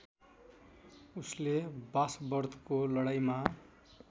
उसले वासवर्थको लडाईँँमा